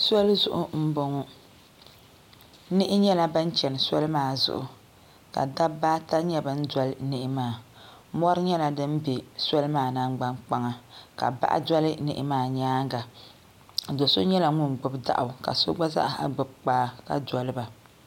soli zuɣu m-bɔŋɔ niɣi nyɛla ban chana soli maa zuɣu ka dabba ata nyɛ ban doli niɣi maa mɔri nyɛla din be soli maa nangbankpaŋa ka bahi doli niɣi maa nyaanga do' so nyala ŋun gbibi daɣu ka so gba zaa gbibi kpaa ka doli ba